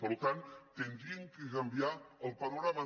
per tant haurien de canviar el panorama